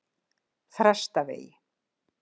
Þrastarvegi